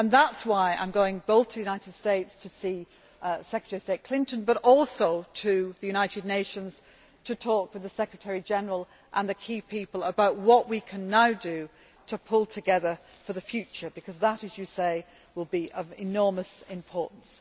That is why I am going not only to the United States to see Secretary of State Clinton but also to the United Nations to talk with the Secretary General and the key people about what we can now do to pull together for the future because that, as you say, will be of enormous importance.